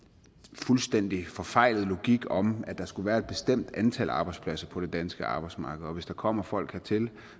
fuldstændig forfejlet logik om at der skulle være et bestemt antal arbejdspladser på det danske arbejdsmarked og hvis der kommer folk hertil